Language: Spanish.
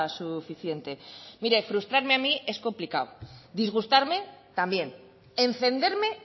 suficiente mire frustrarme a mí es complicado disgustarme también encenderme